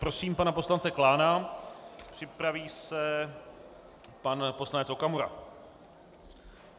Prosím pana poslance Klána, připraví se pan poslanec Okamura.